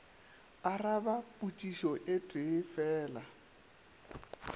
araba potšišo e tee fela